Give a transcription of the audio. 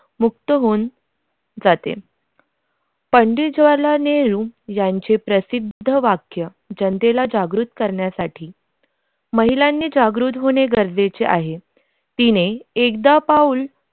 मुक्त होऊन जाते पंडित जवाहरलाल नेहरू यांचे प्रसिद्ध वाक्य जनतेला जागृत करण्यासाठी महिलांनी जागरूक होणे गरजेचे आहे तिने एकदा पाऊल